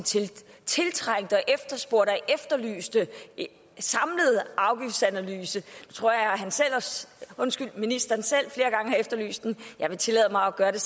tiltrængte og efterspurgte og efterlyste samlede afgiftsanalyse jeg tror at ministeren selv flere gange har efterlyst den jeg vil tillade mig at gøre det